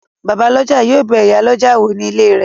Bàbálọ́jà yóò bẹ ìyálọ́jà wò ní ilé rẹ̀